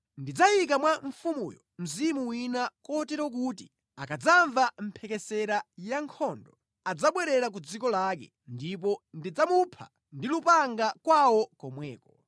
Tamverani! Ine ndidzayika mwa mfumuyo mzimu wina kotero kuti akadzamva mphekesera ya nkhondo, adzabwerera ku dziko lake, ndipo Ine ndidzachititsa kuti aphedwe ndi lupanga kwawo komweko.’ ”